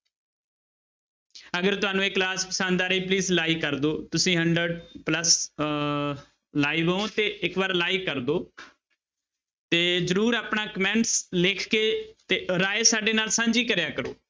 ਅਗਰ ਤੁਹਾਨੂੰ ਇਹ class ਪਸੰਦ ਆ ਰਹੀ ਹੈ please like ਕਰ ਦਓ ਤੁਸੀਂ hundred plus ਅਹ live ਹੋ ਤੇ ਇੱਕ ਵਾਰ like ਕਰ ਦਓ ਤੇ ਜ਼ਰੂਰ ਆਪਣਾ comment ਲਿਖ ਕੇ ਤੇ ਰਾਏ ਸਾਡੇ ਨਾਲ ਸਾਂਝੀ ਕਰਿਆ ਕਰੋ।